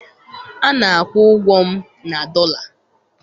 Ana-akwụ ụgwọ m na dọla